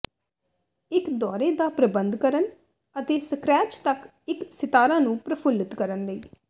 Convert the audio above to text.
ਇੱਕ ਦੌਰੇ ਦਾ ਪ੍ਰਬੰਧ ਕਰਨ ਅਤੇ ਸਕਰੈਚ ਤੱਕ ਇੱਕ ਸਿਤਾਰਾ ਨੂੰ ਪ੍ਰਫੁੱਲਤ ਕਰਨ ਲਈ